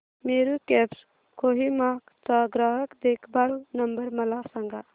Meru cabs Kohima चा ग्राहक देखभाल नंबर मला सांगा